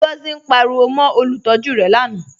Ngọzi ǹ pàríwò mó olùtọ̀jú rẹ̀ lánà